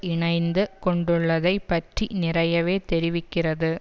இணைந்து கொண்டுள்ளதை பற்றி நிறையவே தெரிவிக்கிறது